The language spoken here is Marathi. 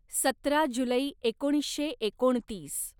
सतरा जुलै एकोणीसशे एकोणतीस